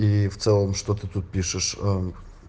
и в целом то ты тут пишешь ээ